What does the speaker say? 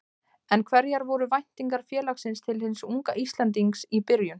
En hverjar voru væntingar félagsins til hins unga Íslendings í byrjun?